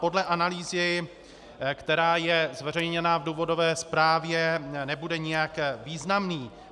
Podle analýzy, která je zveřejněna v důvodové zprávě, nebude nijak významný.